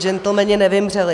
Džentlmeni nevymřeli.